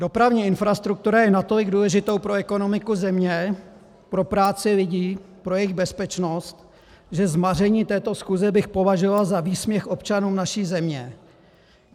Dopravní infrastruktura je natolik důležitou pro ekonomiku země, pro práci lidí, pro jejich bezpečnost, že zmaření této schůze bych považoval za výsměch občanům naší země.